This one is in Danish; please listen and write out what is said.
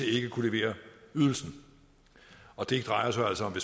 ikke kunne levere ydelsen og det drejer sig altså om